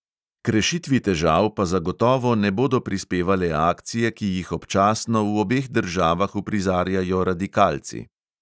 K rešitvi težav pa zagotovo ne bodo prispevale akcije, ki jih občasno v obeh državah uprizarjajo radikalci.